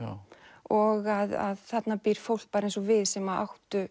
og að þarna býr fólk bara eins og við sem áttu